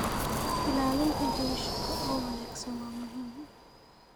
Ilaalinta jawi shaqo oo wanaagsan waa muhiim.